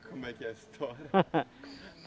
Como é que é a história?